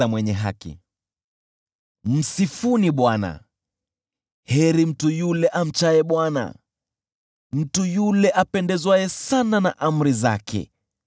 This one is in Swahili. Msifuni Bwana . Heri mtu yule amchaye Bwana , mtu yule apendezwaye sana na amri zake.